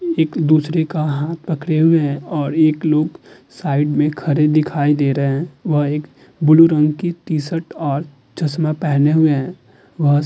एक-दूसरे का हाथ पकडे हुए हैं और एक लोग साइड में खड़े दिखाई दे रहे हैं। वह एक ब्लू रंग की टी-शर्ट और चश्मा पहने हुए है। वह --